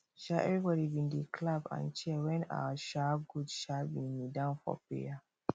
um everybody been dey clap and cheer when our um goat um been kneel down for prayer